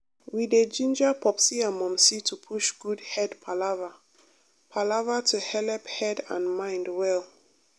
we dey ginger popsi and momsi to push good head palava palava to helep head and mind well.